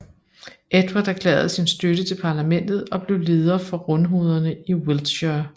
Edward erklærede sin støtte til parlamentet og blev leder for rundhovederne i Wiltshire